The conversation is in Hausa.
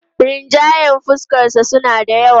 Rinjayen fuskarsa suna da yawa.